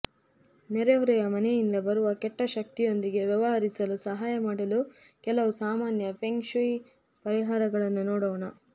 ನೆರೆಹೊರೆಯ ಮನೆಯಿಂದ ಬರುವ ಕೆಟ್ಟ ಶಕ್ತಿಯೊಂದಿಗೆ ವ್ಯವಹರಿಸಲು ಸಹಾಯ ಮಾಡಲು ಕೆಲವು ಸಾಮಾನ್ಯ ಫೆಂಗ್ ಶೂಯಿ ಪರಿಹಾರಗಳನ್ನು ನೋಡೋಣ